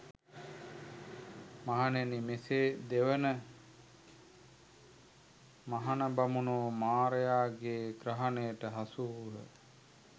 මහණෙනි, මෙසේ දෙවන මහණ බමුණෝ මාරයාගේ ග්‍රහණයට හසුවූහ.